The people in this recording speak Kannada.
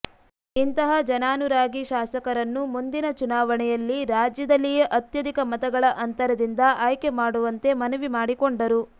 ಇಂತಹ ಜನಾನುರಾಗಿ ಶಾಸಕರನ್ನು ಮುಂದಿನ ಚುನಾವಣೆಯಲ್ಲಿ ರಾಜ್ಯದಲ್ಲಿಯೇ ಅತ್ಯಧಿಕ ಮತಗಳ ಅಂತರದಿಂದ ಆಯ್ಕೆ ಮಾಡುವಂತೆ ಮನವಿ ಮಾಡಿಕೊಂಡರು